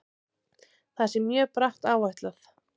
Það sé mjög bratt áætlað.